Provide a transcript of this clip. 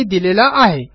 यांनी दिलेला आहे